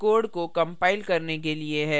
यह code को compile करने के लिए है